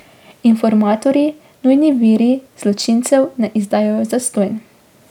Informatorji, nujni viri, zločincev ne izdajajo zastonj.